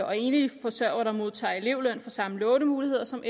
og enlige forsørgere der modtager elevløn får samme lånemuligheder som